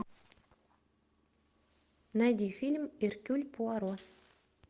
найди фильм эркюль пуаро